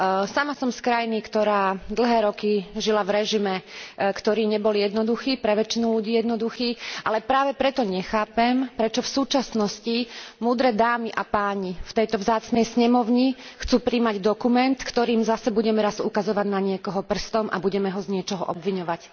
Sama som z krajiny, ktorá dlhé roky žila v režime, ktorý nebol jednoduchý, pre väčšinu ľudí jednoduchý, ale práve preto nechápem, prečo v súčasnosti múdre dámy a páni v tejto vzácnej snemovni chcú prijať dokument, ktorým zase budeme raz ukazovať na niekoho prstom a budeme ho z niečoho obviňovať.